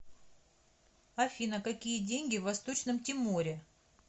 афина какие деньги в восточном тиморе